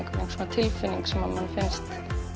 tilfinning sem manni finnst